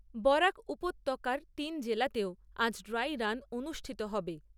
বরাক উপত্যকার তিন জেলাতেও আজ ড্রাই রান অনুষ্ঠিত হবে।